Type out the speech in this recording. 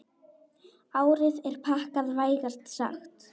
Árið er pakkað, vægast sagt.